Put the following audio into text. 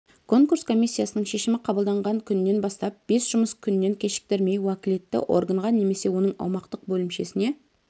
конкурс комиссиясының шешімі қабылданған күннен бастап бес жұмыс күннен кешіктірмей уәкілетті органға немесе оның аумақтық бөлімшесіне